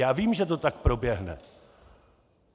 Já vím, že to tak proběhne.